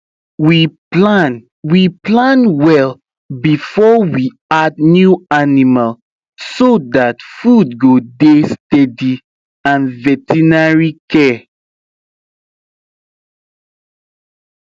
we plan we plan well before we add new animal so that food go dey steady and veterinary care